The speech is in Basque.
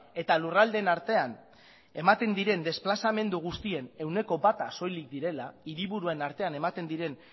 eta lurraldeen artean ematen diren desplazamendu guztien ehuneko bata soilik direla hiriburuen artean ematen diren